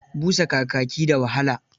Busa kakaki da wahala.